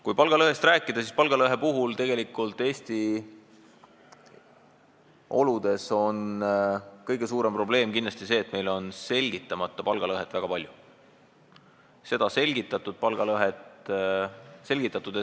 Kui palgalõhest rääkida, siis Eesti oludes on kõige suurem probleem kindlasti see, et meil on väga palju selgitamata palgalõhet.